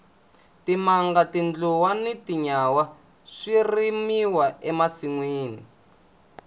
timanga tindluwa na tinyawa swi rimiwa e masinwini